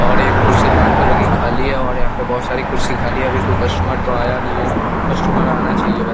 और एक कुर्सी लाल कलर की खाली है और यहाँ पे बहोत सारी कुर्सी खाली है अभी तो कोई कस्टुमर तो आया नही है कस्टूमर आना चाहिये वै --